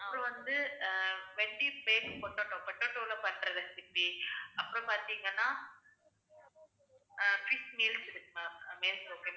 அது வந்து ஆஹ் venty base potato potato ல பண்ற recipe அப்புறம் பாத்தீங்கன்னா அஹ் fish meals இருக்கு ma'am